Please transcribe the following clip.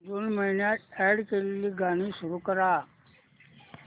जून महिन्यात अॅड केलेली गाणी सुरू कर